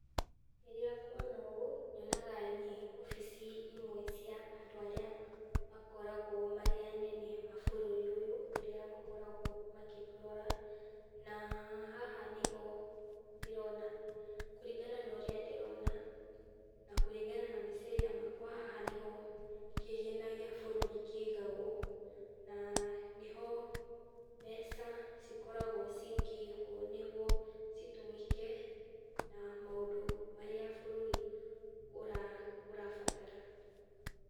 Rĩrĩa ngwona ũũ nyonaga nĩ wabici imwe cia andũ arĩa makoragwo marĩ anene a bũrũri ũyũ, arĩa makoragwo magĩtũrora na haha nĩho, ndĩrona kũringana ũrĩa ndĩrona na mbica ĩrĩa ndĩrona okorwo haha nĩ ho kĩgĩna gĩa bũrũri kĩigagwo, na nĩho mbeca cikoragwo cikĩigwo nĩguo citũmĩke na maũndũ marĩa bũrũri ũrabatara.